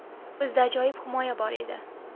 Bizda ajoyib himoya bor edi.